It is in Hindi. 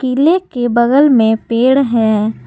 किले के बगल में पेड़ है।